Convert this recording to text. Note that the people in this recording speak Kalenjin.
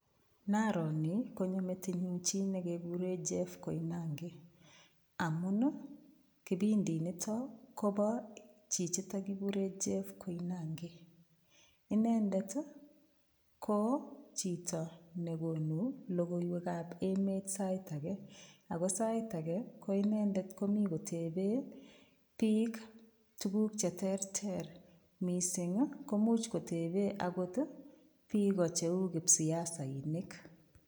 Naaro ni konyo metinyu chi negegure Jeff Koinange amun ii kipindi nito kobo chichito kiguren Jeff Koinange. Inendet ko chito negonu logoywekab emet sait age ko sait age ko inendet komi kotepe biik tugul che terter mising ii komuch kotepe agot biiko cheu kipsiasainik.